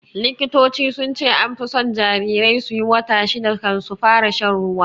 Likitoci sunce anfi son jarirai suyi wata shida kan su fara shan ruwa